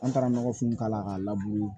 An taara nɔgɔfinw k'a la k'a labure